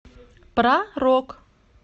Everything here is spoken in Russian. про рок